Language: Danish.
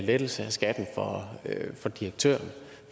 lettelse af skatten for direktøren